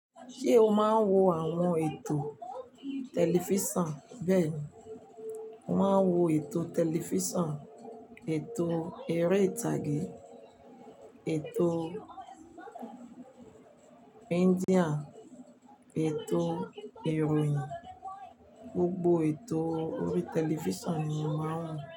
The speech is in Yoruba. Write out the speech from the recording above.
Ṣé o máa ń wo àwọn ètò tẹlifísàn bẹ́ẹ̀ni, mo máa ń wo ètò tẹlifísàn, ètò eré ìtàgé, ètò India, ètò ìròyìn, gbogbo ètò orí tẹlifísàn ni mo máa ń wò.